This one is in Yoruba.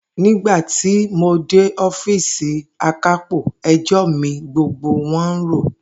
Nígba tí mo dé ó̩fíìsì Akápò, e̩jó̩ mi gbogbo wo̩n ń rò